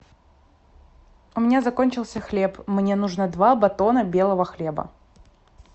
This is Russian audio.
у меня закончился хлеб мне нужно два батона белого хлеба